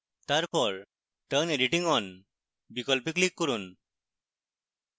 তারপর turn editing on বিকল্পে click করুন